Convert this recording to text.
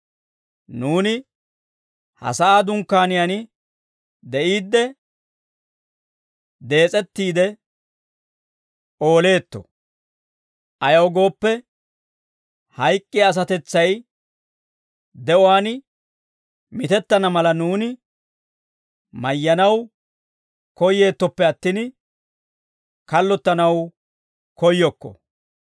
nuuni ha sa'aa dunkkaaniyaan de'iidde, dees'ettiide ooleetto; ayaw gooppe, hayk'k'iyaa asatetsay de'uwaan mitettana mala, nuuni mayyanaw koyeettoppe attin, kallottanaw koyyokko.